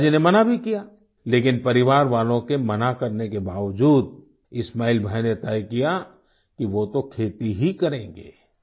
तो पिताजी ने मना भी किया लेकिन परिवार वालों के मना करने के बावजूद इस्माइल भाई ने तय किया कि वो तो खेती ही करेंगे